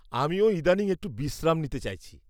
আমিও ইদানিং একটু বিশ্রাম নিতে চাইছি।